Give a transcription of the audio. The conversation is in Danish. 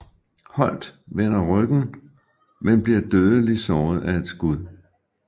Holt vender ryggen men bliver dødeligt såret af et skud